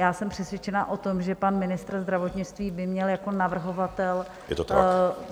Já jsem přesvědčena o tom, že pan ministr zdravotnictví by měl jako navrhovatel...